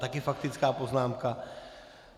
Taky faktická poznámka?